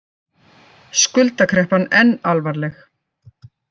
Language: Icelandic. Skuldakreppan enn alvarleg